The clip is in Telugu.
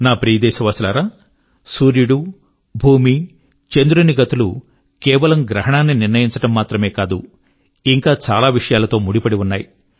నా ప్రియదేశవాసులారా సూర్యుడు భూమి చంద్రుని గతులు కేవలం గ్రహణాన్ని నిర్ణయించడం మాత్రమే కాదు ఇంకా చాలా విషయాల తో ముడిపడి ఉన్నాయి